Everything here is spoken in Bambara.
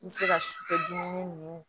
I bɛ se ka sufɛ dumuni ninnu